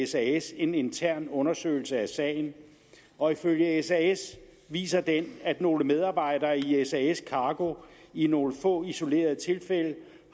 sas en intern undersøgelse af sagen og ifølge sas viser den at nogle medarbejdere i sas cargo i nogle få isolerede tilfælde